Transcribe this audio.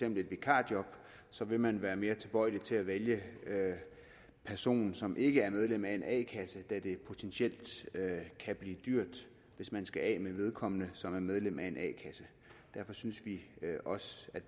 et vikarjob så vil man være mere tilbøjelig til at vælge personen som ikke er medlem af en a kasse da det potentielt kan blive dyrt hvis man skal af med vedkommende som er medlem af en a kasse derfor synes vi også